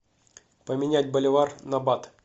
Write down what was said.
поменять боливар на бат